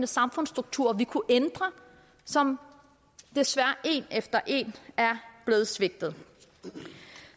samfundsstrukturer vi kunne ændre og som desværre en efter en er blevet svigtet